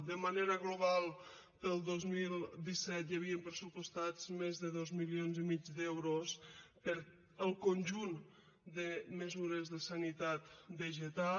de manera global per al dos mil disset hi havien pressupostats més de dos milions i mig d’euros per al conjunt de mesures de sanitat vegetal